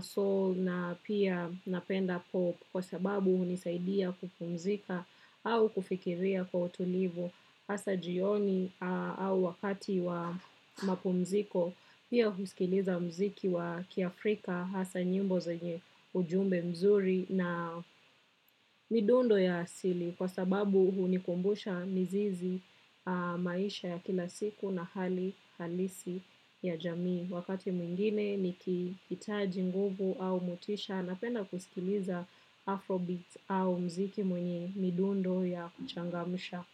soul na pia napenda pop kwa sababu hunisaidia kupumzika au kufikiria kwa tulivu. Hasa jioni au wakati wa mapumziko. Pia kusikiliza mziki wa kiafrika hasa nyimbo zenye ujumbe mzuri na midundo ya asili kwa sababu hunikumbusha mizizi maisha ya kila siku na hali halisi ya jamii. Wakati mwingine nikihitaji nguvu au motisha napenda kusikiliza afrobeats au mziki mwenye midundo ya kuchangamsha.